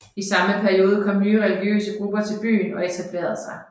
I samme periode kom nye religiøse grupper til byen og etablerede sig